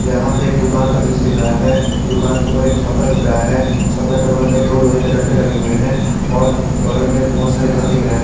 यहां पे एक दुकान का दृश्य रहा है दुकान के ऊपर एक छपरा दिख रहा है छपरा के बगल में दो लोहे के दंटे लगे हुए हैं और बगल में बहोत सारे घर दिख रहे हैं।